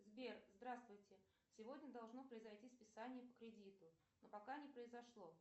сбер здравствуй сегодня должно произойти списание по кредиту но пока не произошло